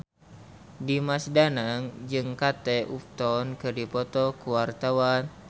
Dimas Danang jeung Kate Upton keur dipoto ku wartawan